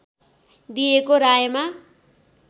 दिएको रायमा